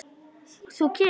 Þú kemur.